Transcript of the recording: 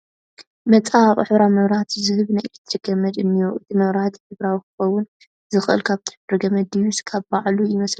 መፀባበቒ ሕብራዊ መብራህቲ ዝህብ ናይ ኤለክትሪክ ገመድ እኒሆ፡፡ እቲ መብራህቲ ሕብራዊ ክኸውን ዝኽእል ካብቲ ሕብሪ ገመዱ ድዩስ ካብ ባዕሉ ይመስለኩም?